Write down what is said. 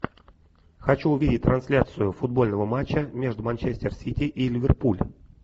хочу увидеть трансляцию футбольного матча между манчестер сити и ливерпуль